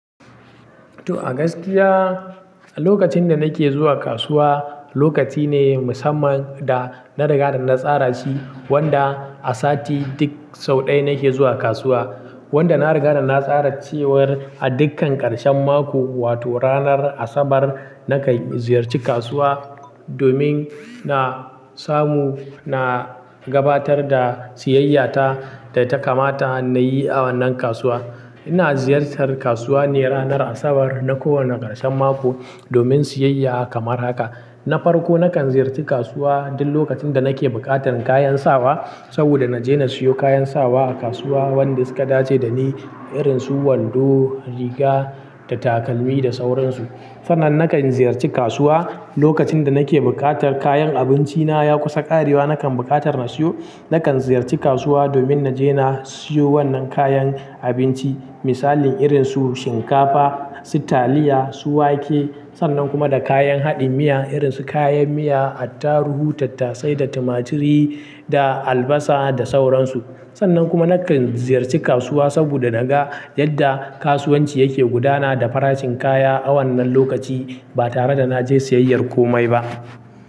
To, a gaskiya lokacin da nake zuwa kasuwa lokaci ne musamman da na riga da na tsara shi wanda a sati duk sau ɗaya nake zuwa kasuwa. Wanda na riga da na tsara cewar a dukkan ƙarshen mako wato ranar Asabar na kan ziyarci kasuwa domin na samu na gabatar da siyayya ta da ta kamata na yi a wannan kasuwa. Ina ziyartar kasuwa ne ranar Asabar na ko wanne ƙarshen mako domin siyayya kamar haka. Na farko na kan ziyarci kasuwa duk lokacin da nake buƙatar kayan sawa saboda na je na siyo kayan sawa a kasuwa wanda suka dace da ni irin su wando, riga da takalmi da sauransu. Sannan na kan ziyarci kasuwa lokacin da nake buƙatar kayan abinci na ya kusa ƙarewa nakan buƙatar na siyo. Nakan ziyarci kasuwa domin na je na siyo wannan kayan abinci misali irin su shinkafa, su taliya su wake. Sannan kuma da kayan haɗin miya irin su kayan miya, attaruhu, tattasai da tumaturi da albasa da sauransu. Sannan kuma na kan ziyarci kasuwa saboda na ga yadda kasuwanci yake gudana da farashin kaya a wannan lokaci ba tare da na je siyayyar komai ba.